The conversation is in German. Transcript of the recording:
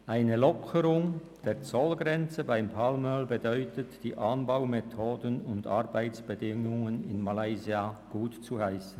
«Eine Lockerung der Zollgrenze beim Palmöl bedeutet, die Anbaumethoden und Arbeitsbedingungen in Malaysia gutzuheissen.